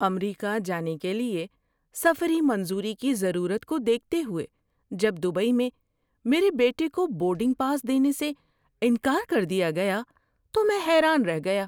امریکہ جانے کے لیے سفری منظوری کی ضرورت کو دیکھتے ہوئے جب دبئی میں میرے بیٹے کو بورڈنگ پاس دینے سے انکار کر دیا گیا تو میں حیران رہ گیا۔